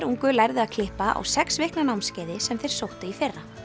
ungu lærðu að klippa á sex vikna námskeiði sem þeir sóttu í fyrra